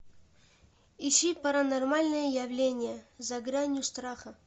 ищи паранормальные явления за гранью страха